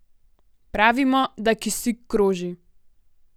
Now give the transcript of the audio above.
Pravimo, da kisik kroži.